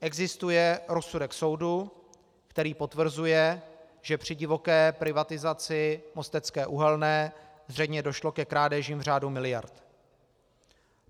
Existuje rozsudek soudu, který potvrzuje, že při divoké privatizaci Mostecké uhelné zřejmě došlo ke krádežím v řádu miliard.